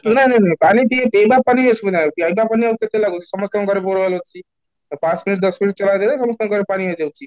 ନାଇଁ ନାଇଁ ନାଇଁ ପାଣି ଟିଏ ପିଇବା ପାଇଁ ଅସୁବିଧା ନାହିଁ, ପିଇବା ପାଣି ଆଉ କେତେ ଲାଗୁଛି, ସମସ୍ତଙ୍କ ଘରେ bore well ଅଛି, ପାଞ୍ଚ minute ଦଶ minute ଚଳାଇ ଦେଲେ ସମସ୍ତଙ୍କର ପାଣି ହେଇ ଯାଉଛି